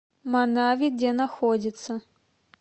манави где находится